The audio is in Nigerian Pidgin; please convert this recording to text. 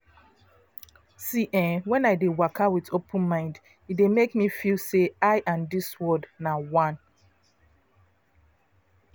see eh wen i dey waka with open mind e dey make me feel say i and dis world na one.